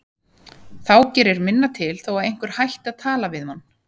Þá gerir minna til þó að einhver hætti að tala við mann.